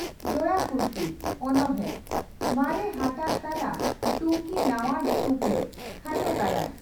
"ᱡᱚᱲᱟ ᱠᱩᱥᱵᱤ" (ᱚᱱᱚᱬᱬᱦᱮ) ᱢᱟᱨᱮ ᱦᱟᱴᱟᱜ ᱛᱟᱞᱟ ᱴᱩᱠᱤ ᱱᱟᱣᱟ ᱴᱩᱯᱞᱟᱹᱜ (ᱠᱷᱟᱴᱚ ᱜᱟᱭᱟᱱ)"